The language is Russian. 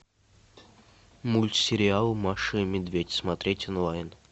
мультсериал маша и медведь смотреть онлайн